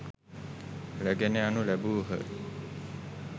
රැගෙන යනු ලැබූහ.